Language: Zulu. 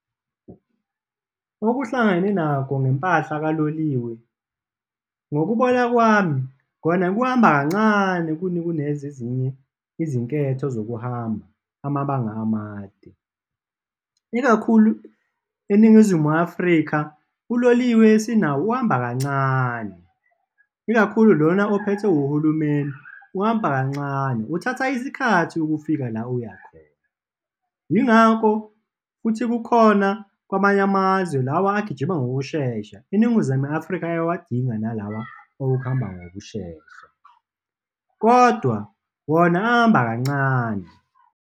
Okuhlangane nakho ngempahla kaloliwe, ngokubona kwami, kona kuhamba kancane kunezezinye izinketho zokuhamba amabanga amade, ikakhulu eNingizimu Afrika, uloliwe esinawo uhamba kancane, ikakhulu lona ophethwe uhulumeni uhamba kancane, uthatha isikhathi ukufika la uyakhona. Yingakho futhi kukhona kwamanye amazwe lawa agijima ngokushesha, iNingizimu Afrika ayawadinga nalawa awokuhamba ngokushesha kodwa wona ahamba kancane.